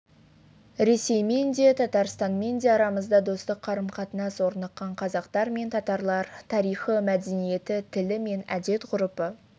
ресеймен де татарстанмен де арамызда достық қарым-қатынас орныққан қазақтар мен татарлар тарихы мәдениеті тілі мен әдет-ғұрпы